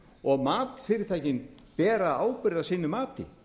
og matsfyrirtækin bera ábyrgð á sínu mati